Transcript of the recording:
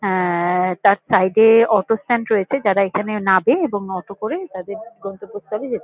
আহ-হ তার সাইড -এ auto stand রয়েছে যারা এখানে নাবে এবং অটো করে তাদের গন্তব্যস্থলে যেতে--